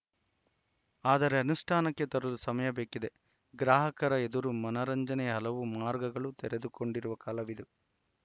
ಆದರೆ ಅನುಷ್ಠಾನಕ್ಕೆ ತರಲು ಸಮಯ ಬೇಕಿದೆ ಗ್ರಾಹಕರ ಎದುರು ಮನರಂಜನೆಯ ಹಲವು ಮಾರ್ಗಗಳು ತೆರೆದುಕೊಂಡಿರುವ ಕಾಲವಿದು